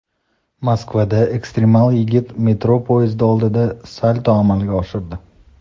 Moskvada ekstremal yigit metro poyezdi oldida salto amalga oshirdi.